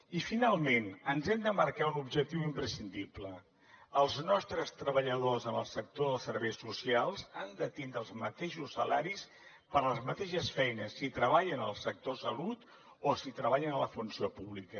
i finalment ens hem de marcar un objectiu imprescindible els nostres treballadors en el sector dels serveis socials han de tindre els mateixos salaris per a les mateixes feines si treballen el sector salut o si treballen a la funció pública